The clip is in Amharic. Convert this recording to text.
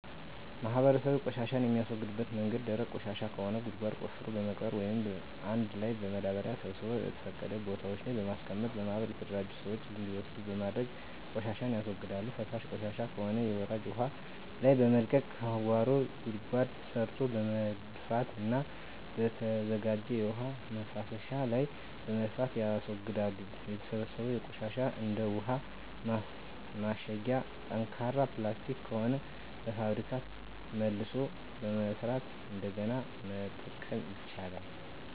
ማህበረሰቡ ቆሻሻን የሚያስወግድበት መንገድ ደረቅ ቆሻሻ ከሆነ ጉድጓድ ቆፍሮ በመቅበር ወይም አንድ ላይ በማዳበሪያ ሰብስቦ በተፈቀዱ ቦታወች ላይ በማስቀመጥ በማህበር የተደራጁ ስዎች እንዲወስዱት በማድረግ ቆሻሻን ያስወግዳሉ። ፈሳሽ ቆሻሻወች ከሆኑ በወራጅ ውሀ ላይ በመልቀቅ ከጓሮ ጉድጓድ ሰርቶ በመድፋትና በተዘጋጀ የውሀ መፍሰሻ ላይ በመድፋት ያስወግዳሉ። የተሰበሰበው ቆሻሻ እንደ ውሀ ማሸጊያ ጠንካራ ፕላስቲክ ከሆነ በፋብሪካ መልሶ በመስራት እንደገና መጠቀም ይቻላል። የተሰበሰበው ቆሻሻ እንደ እንሰሳት ፅዳጅ ከሆነ ለማዳበሪያነት መጠቀም ይቻላል።